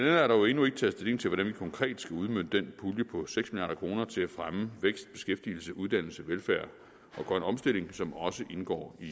er der jo endnu ikke taget stilling til hvordan vi konkret skal udmønte den pulje på seks kroner til fremme af vækst beskæftigelse uddannelse velfærd og grøn omstilling som også indgår i